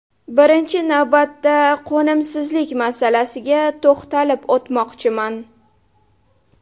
Birinchi navbatda qo‘nimsizlik masalasiga to‘xtalib o‘tmoqchiman.